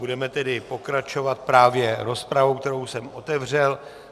Budeme tedy pokračovat právě rozpravou, kterou jsem otevřel.